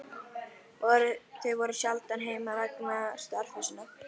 Þau voru sjaldan heima vegna starfa sinna.